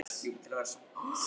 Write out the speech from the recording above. Daðey, spilaðu lag.